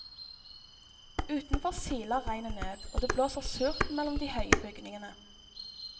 Utenfor siler regnet ned, og det blåser surt mellom de høye bygningene.